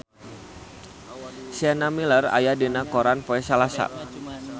Sienna Miller aya dina koran poe Salasa